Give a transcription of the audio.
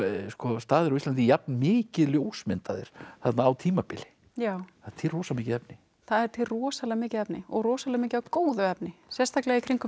staðir á Íslandi jafn mikið ljósmyndaðir þarna á tímabili já það er til rosa mikið efni það er til rosalega mikið efni og rosalega mikið af góðu efni sérstaklega í kringum